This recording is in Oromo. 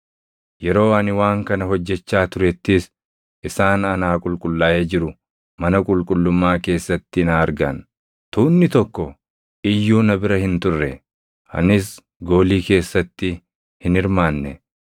Yeroo ani waan kana hojjechaa turettis isaan anaa qulqullaaʼee jiru mana qulqullummaa keessatti na argan. Tuunni tokko iyyuu na bira hin turre; anis goolii keessatti hin hirmaanne.